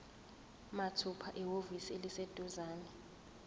mathupha ehhovisi eliseduzane